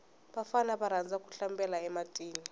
vafana va rhandza ku hlambela e matini